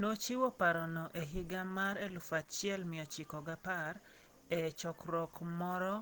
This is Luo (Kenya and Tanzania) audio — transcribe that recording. Nochiwo parono e higa mar 1910 e chokruok moro